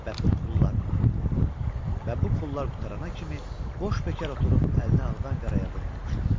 Və bu pullar və bu pullar qutarana kimi boş-bekar oturub əlini ağdan qaraya vurmamışdı.